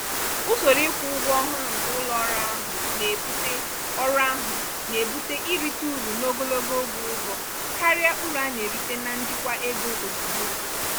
usoro ịkwụ ụgwọ ọhụrụ nke ụlọ ọrụ ahụ na-ebute ọrụ ahụ na-ebute irite uru n'ogologo oge ụzọ karịa uru a na-erite na njikwa ego ozugbo.